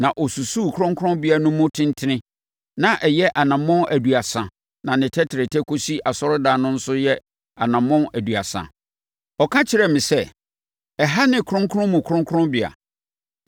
Na ɔsusuu kronkronbea no mu tentene; na ɛyɛ anammɔn aduasa na ne tɛtrɛtɛ kɔsi asɔredan no nso yɛ anammɔn aduasa. Ɔka kyerɛɛ me sɛ, “Ɛha ne Kronkron Mu Kronkronbea.”